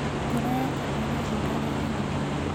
Ngoro yake nĩ ĩrahuraga ihenya muno.